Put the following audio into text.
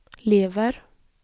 lever